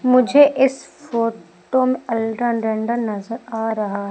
मुझे इस फोटो में अल्ट्रा डंडन नजर आ रहा--